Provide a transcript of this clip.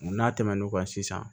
N'a tɛmɛn'o kan sisan